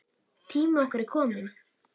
Tími okkar er kominn.